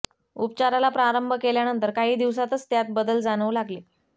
उपचाराला प्रारंभ केल्यानंतर काही दिवसांतच त्यात बदल जाणवू लागले